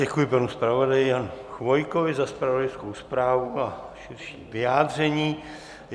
Děkuji panu zpravodaji Janu Chvojkovi za zpravodajskou zprávu a širší vyjádření.